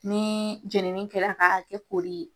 Ni jeniini kɛra k'a kɛ kɛ koli ye.